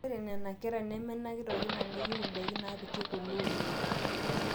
ore nena kera nemenakita orkina neyieu indaiki naapiki kule oleng